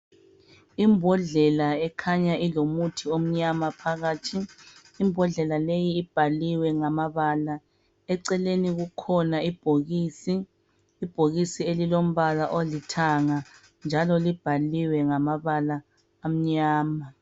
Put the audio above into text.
Imbodlela ekhanya ilomuthi omnyama phakathi imbodlela leyi ibhaliwe ngamabala eceleni kukhona ibhokisi ibhokisi elilombala olithanga njalo libhaliwe ngamabala amnyama.